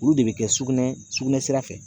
Olu de bɛ kɛ sugunɛ, sugunɛ sira fɛ